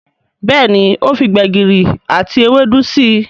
Béèni o fí gbegiri àti Ewédú sí.